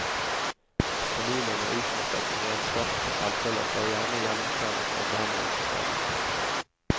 Familien er utmattet, renskrapet for selvfølelse og gjerne gjennomkvernet av behandlingssystemet.